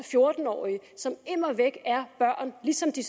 fjorten årige som immer væk er børn ligesom de